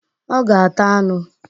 Ọ ga-ata anụ